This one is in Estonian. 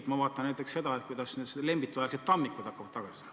Ma ise vaatan näiteks seda, kuidas need Lembitu-aegsed tammikud hakkavad tagasi tulema.